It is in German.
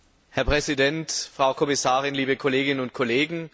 Herr Präsident, Frau Kommissarin, liebe Kolleginnen und Kollegen!